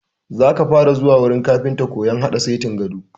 Za ka fara zuwa wurin kafintan koyan haɗa setin gado!